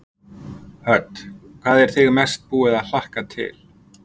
Hödd: Hvað er þig mest búið að hlakka til?